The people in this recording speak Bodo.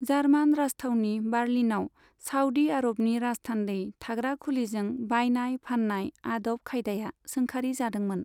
जार्मान राजथावनि बार्लिनाव साऊदी आरबनि राजथान्दै थाग्रा खुलिजों बायनाय फान्नाय आदब खायदाया सोंखारि जादोंमोन।